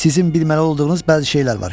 Sizin bilməli olduğunuz bəzi şeylər var.